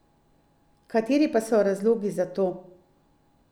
Kateri pa so razlogi za to?